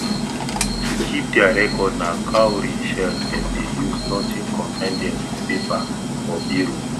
to keep dia record na cowry shell dem dey use nothing consine dem with paper or biro